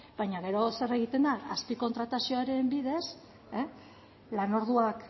baina gero zer egiten da azpikontratazioaren bidez lan orduak